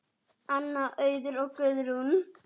Anna, Auður og Guðrún.